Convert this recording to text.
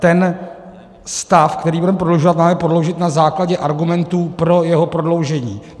Ten stav, který budeme prodlužovat, máme prodloužit na základě argumentů pro jeho prodloužení.